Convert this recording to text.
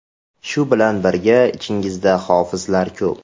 Shu bilan birga, ichingizda hofizlar ko‘p.